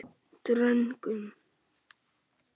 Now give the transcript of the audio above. Dröngum